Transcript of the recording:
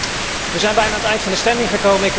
Wij zijn bijna aan het einde van de stemming gekomen.